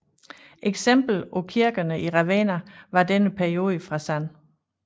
Eksempel på kirkerne i Ravenna fra denne periode er San